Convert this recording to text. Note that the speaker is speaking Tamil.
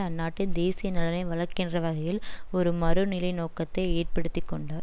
அந்நாட்டின் தேசிய நலனை வளர்க்கின்ற வகையில் ஒரு மறுநிலைநோக்கத்தை ஏற்படுத்தி கொண்டார்